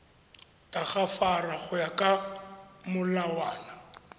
tagafara go ya ka molawana